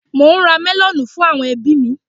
Mò ń ra mẹlọ̀nù fún àwọn ẹbí mi.